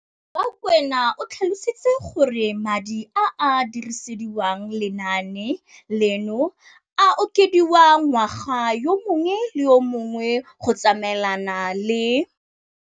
Rakwena o tlhalositse gore madi a a dirisediwang lenaane leno a okediwa ngwaga yo mongwe le yo mongwe go tsamaelana le